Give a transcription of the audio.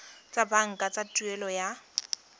tsa banka tsa tuelo ya